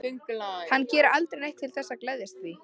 En hann gerir aldrei neitt til þess að geðjast því.